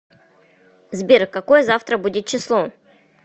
сбер какое завтра будет число